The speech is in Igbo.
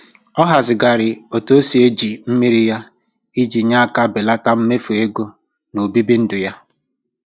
Ọ hazịghari otu o si eji mmiri ya iji nye aka belata mmefu ego n'obibi ndụ ya.